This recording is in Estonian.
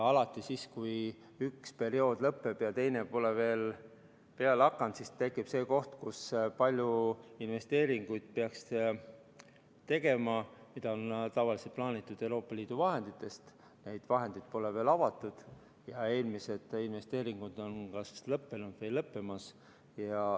Alati siis, kui üks periood lõpeb ja teine pole veel peale hakanud, tekib see koht, et peaks palju investeeringuid tegema, mida on tavaliselt plaanitud teha Euroopa Liidu vahenditest, kuid need vahendid pole veel avatud ja eelmised investeeringud on kas lõppenud või lõppemas.